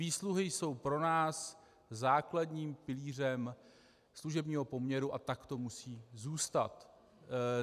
Výsluhy jsou pro nás základním pilířem služebního poměru a tak to musí zůstat.